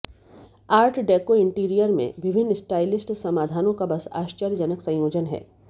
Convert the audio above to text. art deco interior में विभिन्न stylist समाधानों का बस आश्चर्यजनक संयोजन है